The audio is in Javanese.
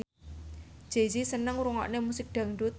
Jay Z seneng ngrungokne musik dangdut